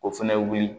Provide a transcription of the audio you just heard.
O fɛnɛ wuli